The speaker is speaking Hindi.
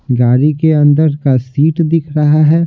गाड़ी के अंदर का सीट दिख रहा है।